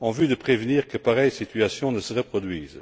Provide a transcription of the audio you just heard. en vue d'empêcher que pareille situation ne se reproduise.